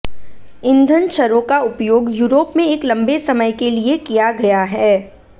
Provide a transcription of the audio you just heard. ईंधन छर्रों का उपयोग यूरोप में एक लंबे समय के लिए किया गया है